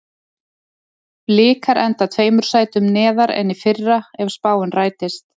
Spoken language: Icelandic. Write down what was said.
Blikar enda tveimur sætum neðar en í fyrra ef spáin rætist.